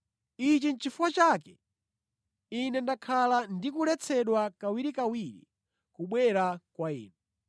Ichi nʼchifukwa chake ine ndakhala ndikuletsedwa kawirikawiri kubwera kwa inu.